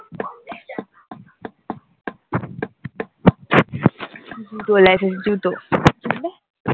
জুতো